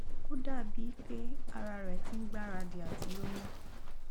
ó dàbí i pé ara rẹ ti ń gbáradì àti lóyún